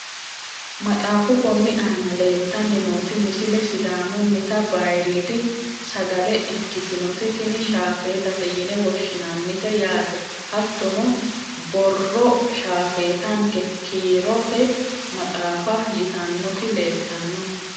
maxaafu konni aana leeltanni nooti misile sidaamunnita bayiiriidi sagale ikkitinoti tini shaafeetate yine woshshinannite yaate, hattono borro shaafeetanke kiirote maxaafa yitannoti leeltanno.